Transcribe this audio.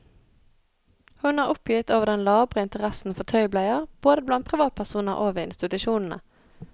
Hun er oppgitt over den labre interessen for tøybleier både blant privatpersoner og ved institusjonene.